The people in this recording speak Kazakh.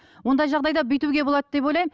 ондай жағдайда бүйтуге болады деп ойлаймын